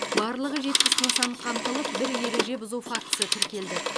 барлығы жетпіс нысан қамтылып бір ереже бұзу фактісі тіркелді